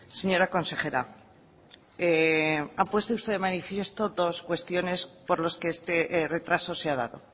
señora consejera ha puesto usted de manifiesto dos cuestiones por los que este retraso se ha dado